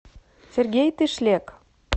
сергей тышлек